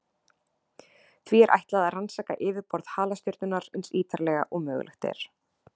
Því er ætlað að rannsaka yfirborð halastjörnunnar eins ítarlega og mögulegt er.